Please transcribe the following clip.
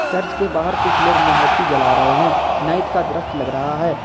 Church के बाहर कुछ लोग मोमबत्ती जला रहे हैं नाइट का दृश्य लग रहा है।